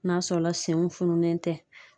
N'a sɔrɔ la senw fununen tɛ